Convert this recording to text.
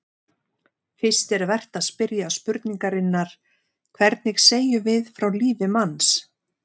Fyrst er vert að spyrja spurningarinnar: hvernig segjum við frá lífi manns?